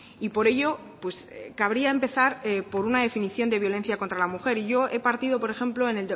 y por ello cabría empezar por una definición de violencia contra la mujer y yo he partido por ejemplo en